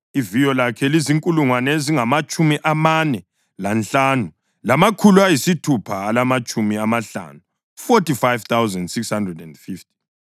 Iviyo lakhe lizinkulungwane ezingamatshumi amane lanhlanu, lamakhulu ayisithupha alamatshumi amahlanu (45,650).